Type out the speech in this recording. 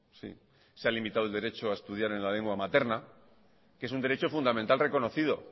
sí se ha limitado el derecho a estudiar en la lengua materna que es un derecho fundamental reconocido